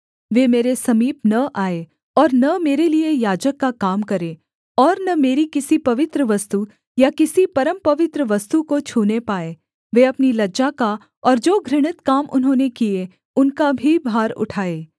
वे मेरे समीप न आएँ और न मेरे लिये याजक का काम करें और न मेरी किसी पवित्र वस्तु या किसी परमपवित्र वस्तु को छूने पाएँ वे अपनी लज्जा का और जो घृणित काम उन्होंने किए उनका भी भार उठाए